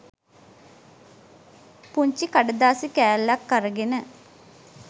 පුංචි කඩදාසි කෑල්ලක් අරගෙන